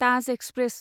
Taj express